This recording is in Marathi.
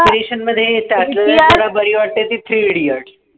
inspiration मध्ये त्यातल्या त्यात बारी वाटते ती three indiots